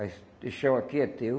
Aí esse Esse chão aqui é teu.